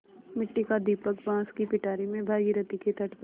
मिट्टी का दीपक बाँस की पिटारी में भागीरथी के तट पर